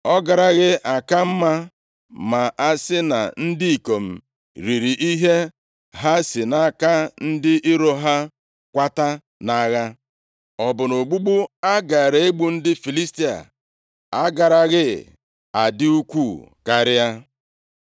Ọ garaghị aka mma ma a sị na ndị ikom riri ihe ha si nʼaka ndị iro ha kwata nʼagha? Ọ bụ na ogbugbu a gaara egbu ndị Filistia agaraghị adị ukwuu karịa?”